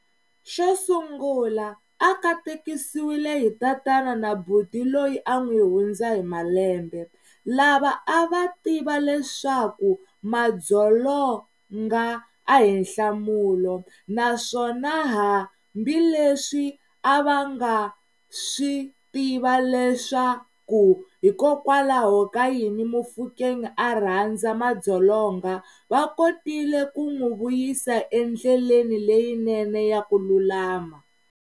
Xo sungula, a katekisiwile hi tatana na buti loyi a n'wi hundza hi malembe, lava a va tiva leswaku madzolonga a hi nhlamulo, naswona hambileswi a va nga swi tiva leswaku hikokwalaho ka yini Mofokeng a rhandza madzolonga, va kotile ku n'wi vuyisa endleleni leyinene ya ku lulama.